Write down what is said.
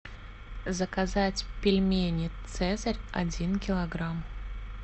заказать пельмени цезарь один килограмм